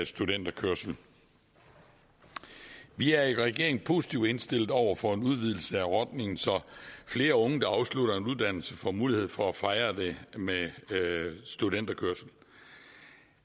studenterkørsel vi er i regeringen positivt indstillet over for en udvidelse af ordningen så flere unge der afslutter en uddannelse får mulighed for at fejre det med studenterkørsel